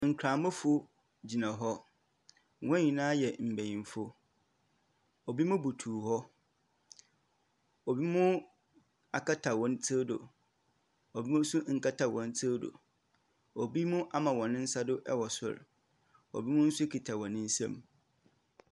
Nkramofo gyina hɔ. Wɔn nyinaa yɛ mbenyimfo. Obinom butuw hɔ. Ebinom akata hɔn tsir do, ebi nso nkata wɔn tsir do. Obi mu nso ama hɔn nsa do wɔ sor. Obi mu nso kita wɔn nsam.